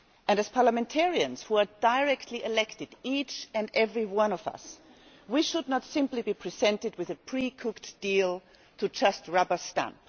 As Parliamentarians who are directly elected, each and every one of us, we should not simply be presented with a pre cooked deal to just rubber stamp.